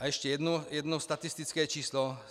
A ještě jedno statistické číslo.